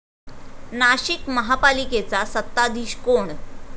नाशिक महापालिकेचा सत्ताधीश कोण?